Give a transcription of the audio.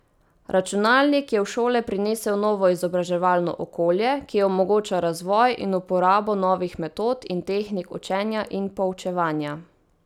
Računalnik je v šole prinesel novo izobraževalno okolje, ki omogoča razvoj in uporabo novih metod in tehnik učenja in poučevanja.